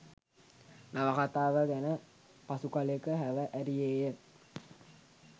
නවකතාව ගැන පසු කලෙක හැව ඇරියේය.